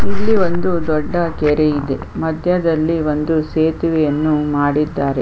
ಇಲ್ಲಿ ಒಂದು ದೊಡ್ಡ ಕೆರೆ ಇದೆ ಮಧ್ಯದಲ್ಲಿ ಒಂದು ಸೇತುವೆಯನ್ನು ಮಾಡಿದ್ದಾರೆ.